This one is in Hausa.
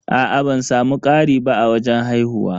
Aa ban samu ƙari ba a wajen haihuwa.